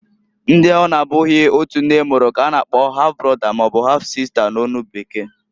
Ndi ọ na -abụghi otu nne mụrụ k'a na-akpo half brother maọbụ half-sister n'onu bekee.